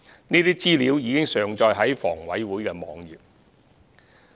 這些資料已上載至房委會網頁。